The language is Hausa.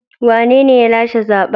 Wanene ya lashe zaben?